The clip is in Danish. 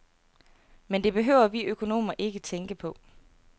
Men det behøver vi økonomer ikke tænke på.